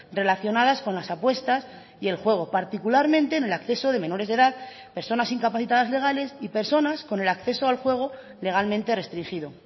relacionadas con las apuestas y el juego particularmente en el acceso de menores de edad personas incapacitadas legales y personas con el acceso al juego legalmente restringido